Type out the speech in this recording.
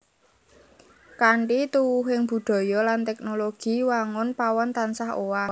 Kanthi tuwuhing budaya lan teknologi wangun pawon tansah owah